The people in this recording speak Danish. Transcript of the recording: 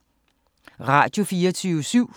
Radio24syv